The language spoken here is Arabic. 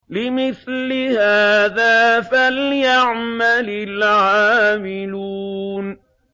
لِمِثْلِ هَٰذَا فَلْيَعْمَلِ الْعَامِلُونَ